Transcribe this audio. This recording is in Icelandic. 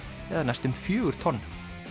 eða næstum fjögur tonn